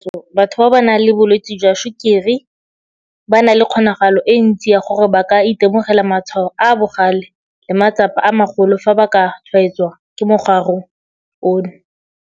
Ka kakaretso, batho ba ba nang le bolwetse jwa tshukiri ba na le kgonagalo e ntsi ya gore ba ka itemogela matshwao a a bogale le matsapa a magolo fa ba ka tshwaetswa ke mogare ono.